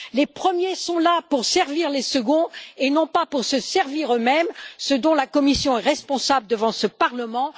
Les premiers sont là pour servir les seconds et non pas pour se servir eux mêmes, ce dont la Commission est responsable devant ce Parlement.